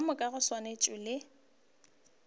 ka moka go swana le